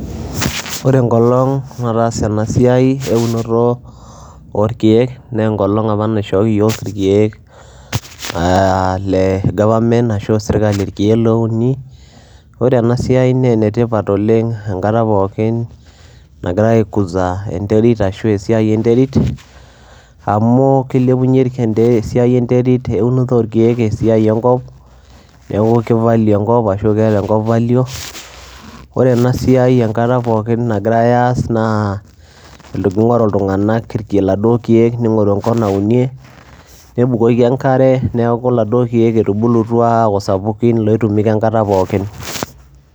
Ore enkolong' nataasa ena siai eunoto orkeek nee eng'olong' apa naishooki iyiok irkeek aa lee government ashu sirkali irkeek loouni. Ore ena siai nee ene tipat oleng' enkata pookin nagirai aikuza enterit ashu a esiai enterit, amu kilepunye irkente esiai enterit eunoto orkeek esiai enkop, neeku kivalue enkop ashu keeta enkop value. Ore ena siai enkata pookin nagirai aas naa iltu king'oru iltung'anak irke laduo keek, ning'oru enkop naunie, nebukoki enkare neeku laduo keek etubulutua aaku sapukin loitumika enkata pookin.